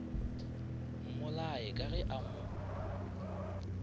mmolaye ka ge a mo